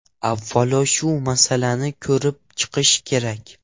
Avvalo shu masalani ko‘rib chiqish kerak.